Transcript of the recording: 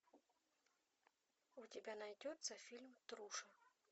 у тебя найдется фильм труша